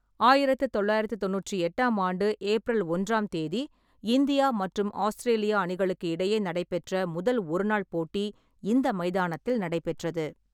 ஆயிரத்து தொள்ளாயிரத்து தொண்ணூற்றி எட்டாம் ஆண்டு ஏப்ரல் ஒன்றாம் தேதி இந்தியா மற்றும் ஆஸ்திரேலியா அணிகளுக்கு இடையே நடைபெற்ற முதல் ஒருநாள் போட்டி இந்த மைதானத்தில் நடைபெற்றது.